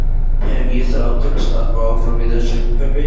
Hef ég þrá til að starfa áfram í þessu umhverfi?